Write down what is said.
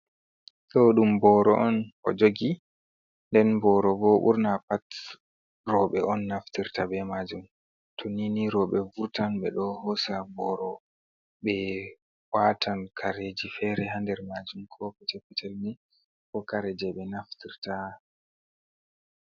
Ɗo ɗum booro on o jogi, nden booro bo ɓurna pat roɓe on naftirta be maajum, to nini roɓe vurtan ɓe ɗo hosa boro, ɓe waatan kareji fere ha nder maajum, ko kuje petel ni, ko kare je ɓe naftirta.